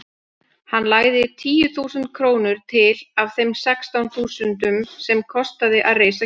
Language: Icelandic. Hann lagði tíu þúsund krónur til af þeim sextán þúsundum sem kostaði að reisa kirkjuna.